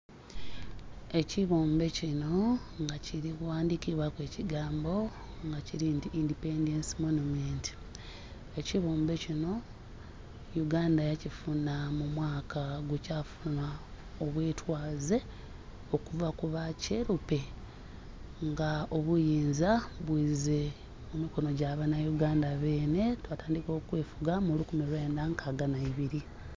Ekighumbe kinho nga ki ghandhikibwaku ekigambo nga kili nti "Independence Monument". Ekighumbe kinho uganda yakifunha mu mwaka gwekyafunha obwetwaze okuva ku ba kyelupe nga obuyinza bwiize mu mikono gya banhaUganda beenhe. Twatandhika okwefuga mu lukumi lwendha nkaaga nha ibiri.